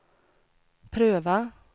pröva